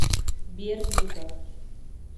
бердников